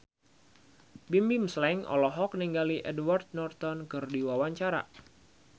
Bimbim Slank olohok ningali Edward Norton keur diwawancara